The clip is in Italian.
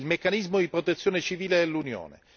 il meccanismo di protezione civile dell'Unione.